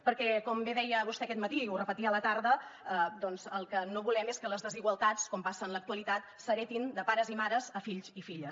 perquè com bé deia vostè aquest matí i ho repetia a la tarda doncs el que no volem és que les desigualtats com passa en l’actualitat s’heretin de pares i mares a fills i filles